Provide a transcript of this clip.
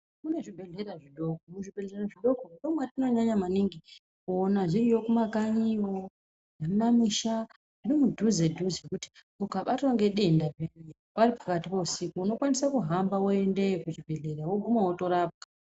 Kunezvibhedlera zvidoko, muzvibhedlera zvidoko ndomatinonyanya maningi kuwona zviriyo mumakanyiyo, mumamusha nemudhuze dhuze kuti ukabatwa ngedenda paripakati pousiku ,unokwanisa kuhamba woendeyo kuchibhedlera wokuma wotorapwa.